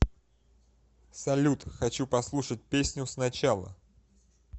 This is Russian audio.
салют хочу послушать песню сначала